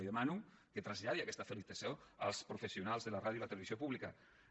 li demano que traslladi aquesta felicitació als professionals de la ràdio i la televisió públiques